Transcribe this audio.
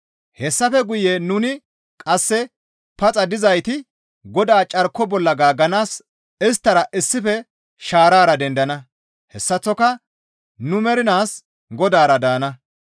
Hessafe guye nuni qasse paxa dizayti Godaa carko bolla gaagganaas isttara issife shaarara dendana; hessaththoka nu mernaas Godaara daana.